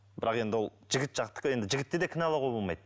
бірақ енді ол жігіт жақтікі енді жігітті де кінәлауға болмайды